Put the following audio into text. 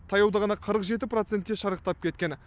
таяуда ғана қырық жеті процентке шарықтап кеткен